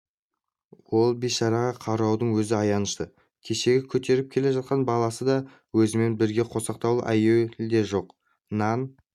ол бейшараға қараудың өзі аянышты кешегі көтеріп келе жатқан баласы да өзімен бірге қосақтаулы әйел де жоқ нан